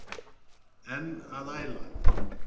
En að æla?